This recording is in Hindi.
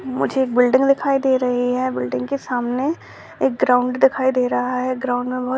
मुझे एक बिल्डिंग दिखाई दे रही है। बिल्डिंग के सामने एक ग्राउंड दिखाई दे रहा है। ग्राउन्ड में बोहोत --